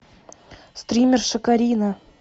стримерша карина